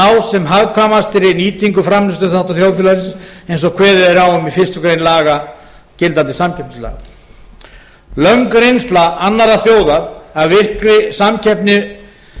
ná sem hagkvæmastri nýtingu framleiðsluþátta þjóðfélagsins eins og kveðið er á um í fyrstu grein gildandi samkeppnislaga löng reynsla annarra þjóða af virkri samkeppni